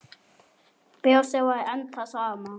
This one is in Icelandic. Brosið var enn það sama.